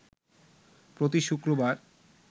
প্রতি শুক্রবার